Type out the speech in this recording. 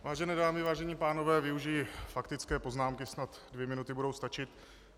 Vážené dámy, vážení pánové, využiji faktické poznámky, snad dvě minuty budou stačit.